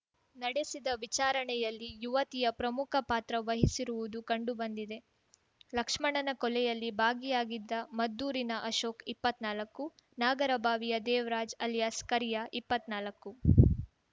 ನಡೆಸಿದ ವಿಚಾರಣೆಯಲ್ಲಿ ಯುವತಿಯ ಪ್ರಮುಖ ಪಾತ್ರ ವಹಿಸಿರುವುದು ಕಂಡುಬಂದಿದೆ ಲಕ್ಷ್ಮಣನ ಕೊಲೆಯಲ್ಲಿ ಭಾಗಿಯಾಗಿದ್ದ ಮದ್ದೂರಿನ ಅಲೋಕ್ ಇಪ್ಪತ್ ನಾಲಕ್ಕು ನಾಗರಬಾವಿಯ ದೇವರಾಜ್ ಅಲಿಯಾಸ್ ಕರಿಯ ಇಪ್ಪತ್ ನಾಲಕ್ಕು